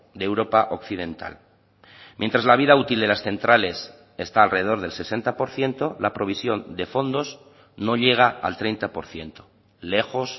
de europa occidental mientras la vida útil de las centrales esta alrededor del sesenta por ciento la provisión de fondos no llega al treinta por ciento lejos